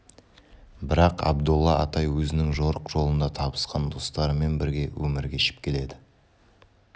бірақ абдолла атай өзінің жорық жолында табысқан достарымен бірге өмір кешіп келеді